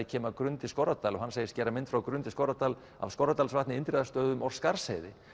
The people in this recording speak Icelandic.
kem að Grund í Skorradal og hann segist gera mynd frá Grund í Skorradal af Skorradalsvatni Indriðastöðum og Skarðsheiði